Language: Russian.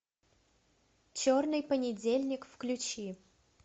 черный понедельник включи